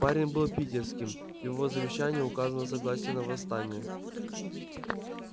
парень был питерским в его завещании указано согласие на восстание